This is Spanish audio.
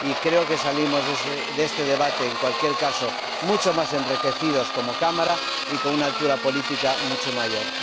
Creo que salimos de este debate, en cualquier caso, mucho más enriquecidos como Cámara y con una altura política mucho mayor.